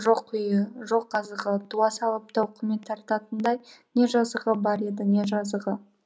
жоқ үйі жоқ азығы туа салып тауқымет тартатындай не жазығы бар еді не жазығы